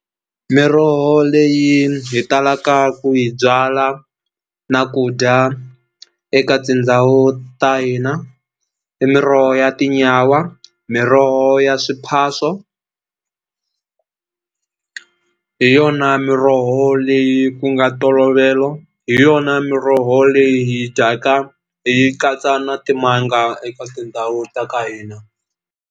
Miroho leyi hi talaka ku yi byala na ku dya eka tindhawu ta hina i miroho ya tinyawa miroho ya swiphaso hi yona miroho leyi ku nga ntolovelo hi yona miroho leyi hi dyaka hi yi katsa na timanga eka tindhawu ta ka hina.